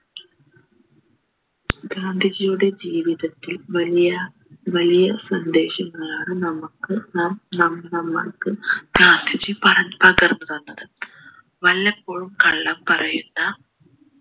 ഗാന്ധിജിയുടെ ജീവിതത്തിൽ വലിയ വലിയ സന്ദേശങ്ങളാണ് നമ്മക്ക് നാം നമ്മ നമ്മക്ക് ഗാന്ധിജി പറഞ്ഞ് പകർന്ന് തന്നത് വല്ലപ്പോഴും കള്ളം പറയുന്ന